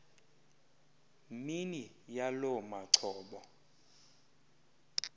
mini yaloo macobo